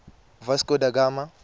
vasco da gama